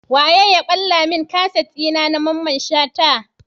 Wane ya balla mun kaset dina na mamman shata?